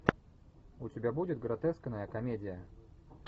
у тебя будет гротескная комедия